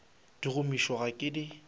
di gomiša ga ke di